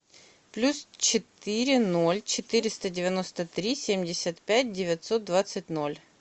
плюс четыре ноль четыреста девяносто три семьдесят пять девятьсот двадцать ноль